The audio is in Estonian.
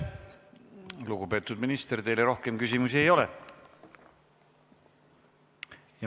Lugupeetud minister, teile rohkem küsimusi ei ole.